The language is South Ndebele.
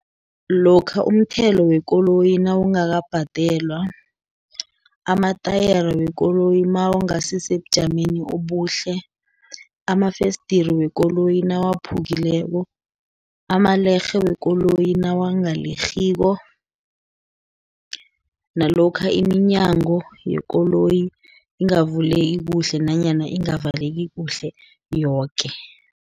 Lokha umthelo wekoloyi nawungakabadelwa, amatayere wekoloyi nawangasi sebujameni obuhle, amafesdiri wekoloyi nawaphukileko, amalerhe wekoloyi nawangalerhiko, nalokha iminyango yekoloyi ingavuleki kuhle, nanyana ingavaleki kuhle yoke.